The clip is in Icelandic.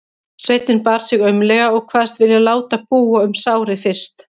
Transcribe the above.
Sveinninn bar sig aumlega og kvaðst vilja láta búa um sárið fyrst.